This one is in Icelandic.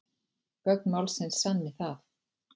Gögn málsins sanni það